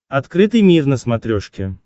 открытый мир на смотрешке